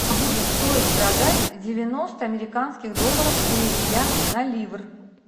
будет стоит продать девяносто американских долларов переведя на ливр